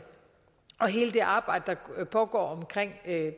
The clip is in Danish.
og hele det arbejde der pågår omkring